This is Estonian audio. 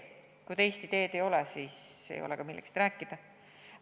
Kui teist ideed ei ole, siis pole ka millestki rääkida.